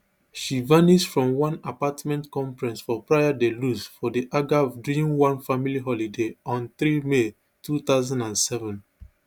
she vanish from one apartment complex for praia da luz for di algarve during one family holiday on three may two thousand and seven